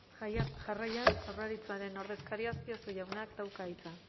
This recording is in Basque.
jarraian jaurlaritzaren ordezkariak azpiazu jaunak dauka hitza